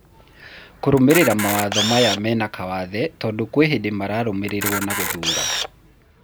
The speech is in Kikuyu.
Kũrũmĩrĩra mawatho maya mena kawathe tondũ kwĩ hĩndĩ mararũmĩrĩrwo na gũthuura.